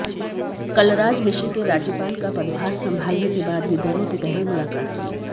कलराज मिश्र के राज्यपाल का पद्भार संभालने के बाद यह दोनों की पहली मुलाकात थी